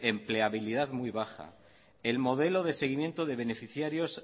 empleabilidad muy baja el modelo de seguimiento de beneficiarios